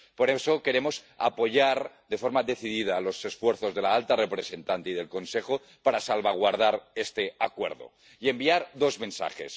Por eso, queremos apoyar de forma decidida los esfuerzos de la alta representante y del Consejo para salvaguardar este acuerdo y enviar dos mensajes.